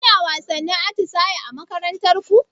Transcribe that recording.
Kuna wasannin atisaye a makarantar ku?